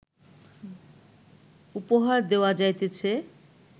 উপহার দেওয়া যাইতেছে